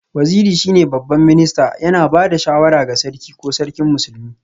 Waziri shine Babban Minista, yana ba da shawara ga Sarki ko Sarkin Musulmi